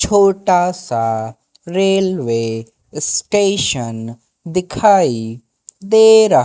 छोटा सा railway station दिखाई दे रहा--